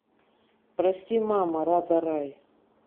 прости мама рада рай